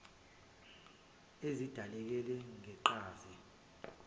ezidaleke ngeqhaza lommeli